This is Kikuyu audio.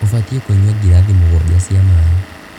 Ũbatiĩ kũnyua Ngirathi mũgwaja cia mai.